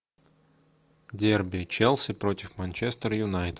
дерби челси против манчестер юнайтед